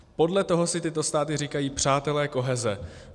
Podle toho si tyto státy říkají Přátelé koheze.